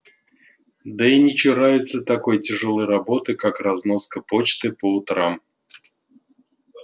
да и не чурается такой тяжёлой работы как разноска почты по утрам